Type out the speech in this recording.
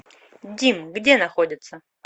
дим где находится